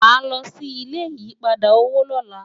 wá ló ṣì ilé ìyí padà owó lọla